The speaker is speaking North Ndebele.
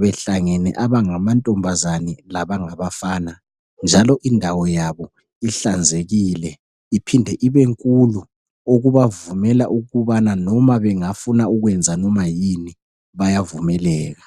behlangene abangamantombazane labangabafana njalo indawo yabo ihlanzekile iphinde ibenkulu. Okubavumela ukubana noma bengafuna ukwenza noma yini ,bayavumeleka.